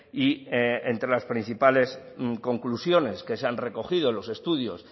y entre las principales conclusiones que se han recogido en los estudios